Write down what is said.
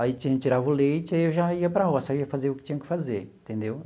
Aí ti tirava o leite e eu já ia para a roça, aí fazia o que tinha que fazer, entendeu?